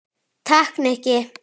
Takk, Nikki